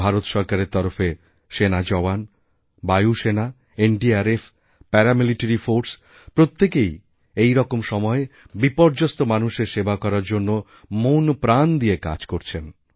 ভারতসরকারের তরফে সেনা জওয়ান বায়ুসেনা এনডিআরএফ প্যারামিলিটারিফোর্স প্রত্যেকেই এইরকম সময়ে বিপর্যস্ত মানুষের সেবা করার জন্য মনপ্রাণ দিয়ে কাজকরছেন